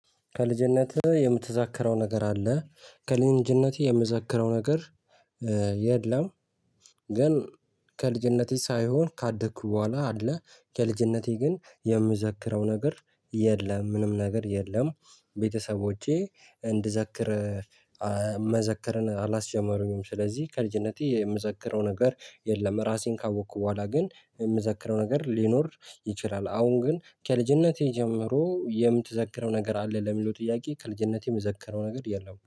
ከልጅነትህ? የምትዛክረው ነገር አለ ከልንጅነቴ የምዛክረው ነገር የለም። ግን ከልጅነቴ ሳይሆን ካደኩ በኋላ አለ። ከልጅነቴ ግን የምዘክረው ነገር የለም ምንም ነገር የለም። ቤተሰቦቼ እንድዘክር መዘከርን አላስጀመሩኝም። ስለዚህ ከልጅነቴ የምዘክረው ነገር የለም። ራሴን ካወቅኩ በኋላ ግን የምዘክረው ነገር ሊኖር ይችላል። አሁን ግን ከልጅነቴ ጀምሮ የምትዘክረው ነገር አለ ለሚለው ጥያቄ ከልጅነቴ የምዘከረው ነገር የለም